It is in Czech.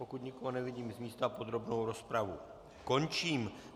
Pokud nikoho nevidím z místa, podrobnou rozpravu končím.